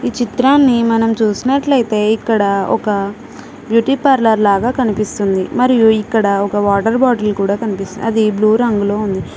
ఈ చిత్రాన్ని మనం చూసినట్లయితే ఇక్కడ ఒక బ్యూటీ పార్లర్ లాగా కనిపిస్తుంది మరియు ఇక్కడ ఒక వాటర్ బాటిల్ కూడా కనిపిస్తూ అది బ్లూ రంగులో ఉంది.